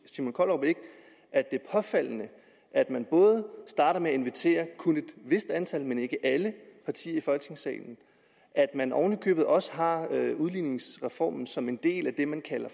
er påfaldende at man starter med at invitere kun et vist antal men ikke alle partier i folketingssalen og at man oven i købet også har udligningsreformen som en del af det man kalder